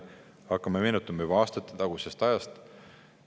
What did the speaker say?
Hakkame meenutama juba aastatetagusest ajast.